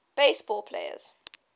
base ball players